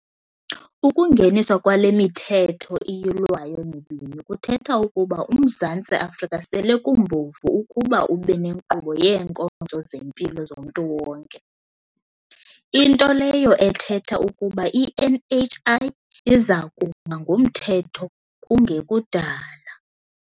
Ukungeniswa kwale miThetho iYilwayo mibini kuthetha ukuba uMzantsi Afrika sele kumbovu ukuba ube nenkqubo yeenkonzo zempilo zomntu wonke, into leyo ethetha ukuba i-NHI iza kuba ngumthetho kungekudala.